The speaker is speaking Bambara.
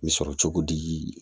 N bɛ sɔrɔ cogo di